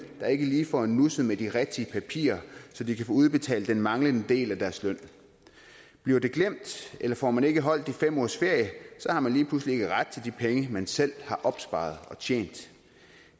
der ikke lige får nusset med de rigtige papirer så de kan få udbetalt den manglende del af deres løn bliver det glemt eller får man ikke holdt de fem ugers ferie har man lige pludselig ikke ret til de penge man selv har opsparet og tjent